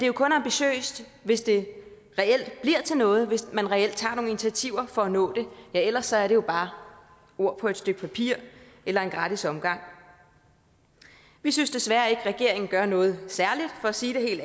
jo kun ambitiøst hvis det reelt bliver til noget hvis man reelt tager nogle initiativer for at nå det ellers er det jo bare ord på et stykke papir eller en gratis omgang vi synes desværre ikke at regeringen gør noget særligt for at sige det helt